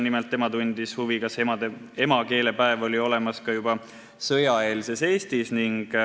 Nimelt tundis ta huvi, kas emakeelepäev oli olemas juba sõjaeelses Eestis.